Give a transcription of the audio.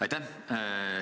Aitäh!